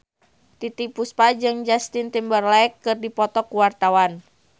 Titiek Puspa jeung Justin Timberlake keur dipoto ku wartawan